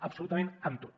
absolutament amb tot